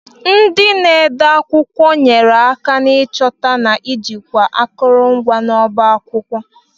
Ndị na-ede akwụkwọ nyere aka n'ịchọta na ijikwa akụrụngwa ọba akwụkwọ.